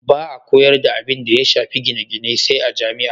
Ba a koyar da abinda ya shafi gine-gine sai a jami'a.